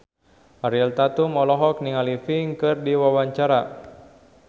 Ariel Tatum olohok ningali Pink keur diwawancara